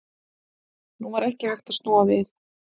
Nú var ekki hægt að snúa við.